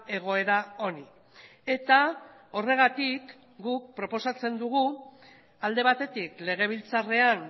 egoera honi eta horregatik guk proposatzen dugu alde batetik legebiltzarrean